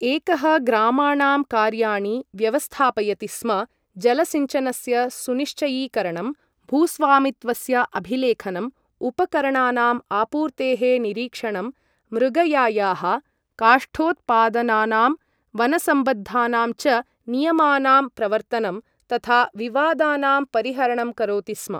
एकः ग्रामाणां कार्याणि व्यवस्थापयति स्म, जलसिञ्चनस्य सुनिश्चयीकरणं, भूस्वामित्वस्य अभिलेखनम्, उपकरणानाम् आपूर्तेः निरीक्षणं, मृगयायाः, काष्ठोत्पादनानाम्, वनसम्बद्धानां च नियमानां प्रवर्तनं, तथा विवादानाम् परिहरणं करोति स्म।